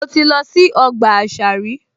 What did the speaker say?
Mo ti lọ sí ọgbà àṣà rí